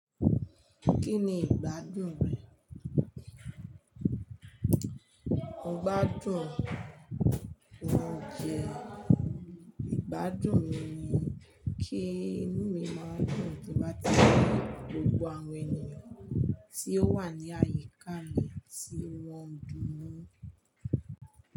Kí ni ìgbádùn rẹ? Ìgbádùn, óunjẹ́, ìgbádùn mi ni kí inú mi máa dùn bí mo bá ti rí gbogbo àwọn ènìyàn tí ó wà ní àyíká mi tí wọ́n ń dùn nu.